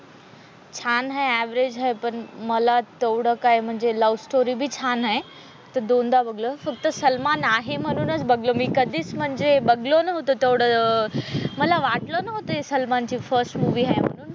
छान आहे अव्हरज आहे पण मला तेवढं काही म्हणजे लव्हस्टोरी बी छान आहे तर दोनदा बघाल फक्त सलमान आहे म्हणूनच बघालो मी कधीच म्हणजे बघालो नव्हतो तो तेवढं मला वाटलं नव्हतं हि सलमान ची फर्स्ट मूवी आहे म्हणून.